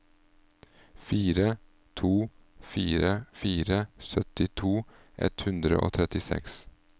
fire to fire fire syttito ett hundre og trettiseks